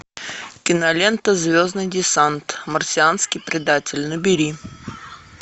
кинолента звездный десант марсианский предатель набери